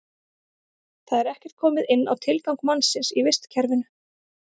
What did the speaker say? Þar er ekkert komið inn á tilgang mannsins í vistkerfinu.